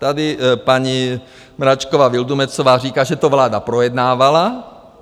Tady paní Mračková Vildumetzová říká, že to vláda projednávala.